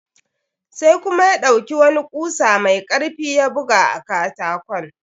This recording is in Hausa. Sai kuma ya ɗauki wani kusa mai karfi ya buga a katakon.